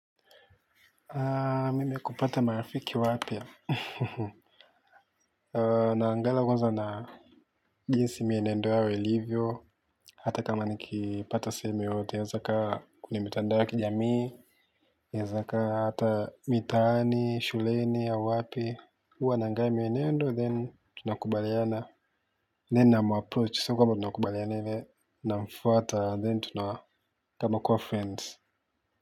Mimi kupata marafiki wapya. Naangala kwanza na jinsi mienendo yao ilivyo. Hata kama nikipata sehemu yoyote hata kama ni mitandao ya kijamii naeza kaa hata mitaani, shuleni au wapi huwa naangalia mienendo then tunakubaliana then namapproach sio kwamba tunakubaliana then namfuata then tunakua kama friends.